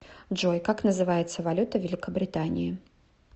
джой как называется валюта в великобритании